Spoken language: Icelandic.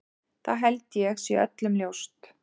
Það held ég sé öllum ljóst.